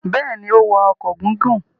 Bẹ́ẹ̀ ni, ó wọ ọkọ̀ gígùn.